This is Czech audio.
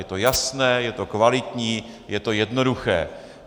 Je to jasné, je to kvalitní, je to jednoduché.